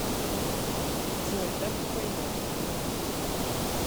джой так не пойдет